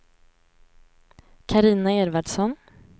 Carina Edvardsson